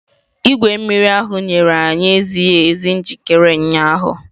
Igwe mmiri ahụ nyere anyị ezighi ezi njikere ụnyaahụ.